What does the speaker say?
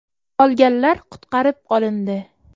Qolganlar qutqarib qolindi.